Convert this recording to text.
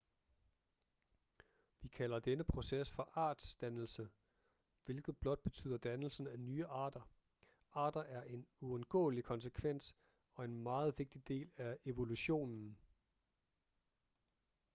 vi kalder denne proces for artsdannelse hvilket blot betyder dannelsen af nye arter arter er en uundgåelig konsekvens og en meget vigtig del af evolutionen